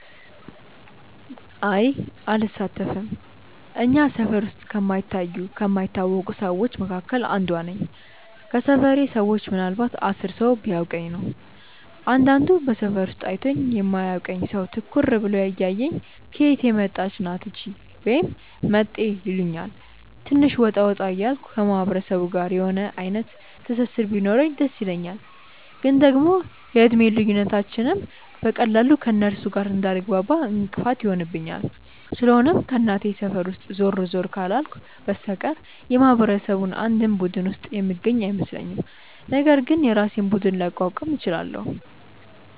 አይ አልሳተፍም። እኛ ሰፈር ውስጥ ከማይታዩ ከማይታወቁ ሰዎች መካከል አንዷ እኔ ነኝ። ከሰፈሬ ሰዎች ምናልንባት 10 ሰው ቢያውቀኝ ነው። አንዳንድ በሰፈሩ ውስጥ አይቶኝ የማያውቅ ሰው ትኩር ብሎ እያየኝ "ከየት የመጣች ናት እቺ?" ወይም "መጤ" ይሉኛል። ትንሽ ወጣ ወጣ እያልኩ ከማህበረሰቡ ጋር የሆነ አይነት ትስስር ቢኖረኝ ደስ ይለኛል፤ ግን ደግሞ የእድሜ ልዩነታችንም በቀላሉ ከእነርሱ ጋር እንዳልግባባ እንቅፋት ይሆንብኛል። ስለሆነም ከእናቴ ሰፈር ውስጥ ዞር ዞር ካላልኩ በስተቀር የማህበረሰቡ አንድም ቡድን ውስጥ የምገኝ አይመስለኝም፤ ነገር ግን የራሴን ቡድን ላቋቁም እችላለው።